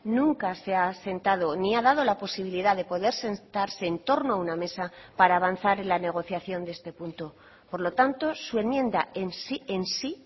nunca se ha sentado ni ha dado la posibilidad de poder sentarse en torno a una mesa para avanzar en la negociación de este punto por lo tanto su enmienda en sí